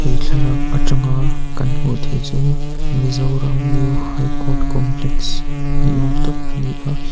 thlalak atanga kan hmuh theih chu mizoram new high court complex ni awm tak a ni a.